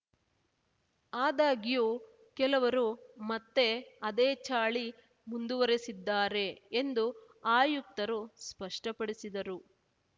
ಆದಾಗ್ಯೂ ಕೆಲವರು ಮತ್ತೆ ಅದೇ ಚಾಳಿ ಮುಂದುವರೆಸಿದ್ದಾರೆ ಎಂದು ಆಯುಕ್ತರು ಸ್ಪಷ್ಟಪಡಿಸಿದರು